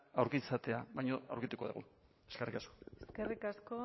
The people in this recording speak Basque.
aurki izatea baina aurkituko dugu eskerrik asko eskerrik asko